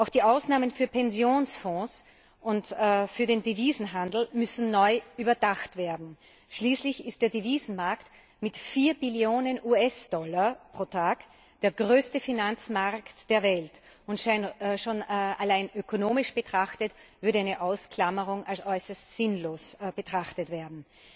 Auch die Ausnahmen für Pensionsfonds und für den Devisenhandel müssen neu überdacht werden, schließlich ist der Devisenmarkt mit vier Billionen US Dollar pro Tag der größte Finanzmarkt der Welt, und schon allein ökonomisch betrachtet würde eine Ausklammerung als äußerst sinnlos betrachtet werden.